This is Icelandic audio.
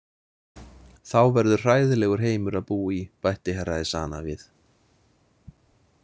Þá verður hræðilegur heimur að búa í, bætti Herra Ezana við.